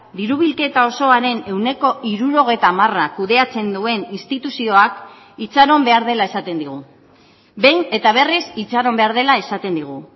diru bilketa osoaren ehuneko hirurogeita hamara kudeatzen duen instituzioak itxaron behar dela esaten digu behin eta berriz itxaron behar dela esaten digu